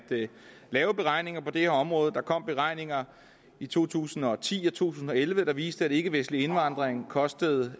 lave beregninger på det her område der kom beregninger i to tusind og ti og to tusind og elleve der viste at ikkevestlig indvandring kostede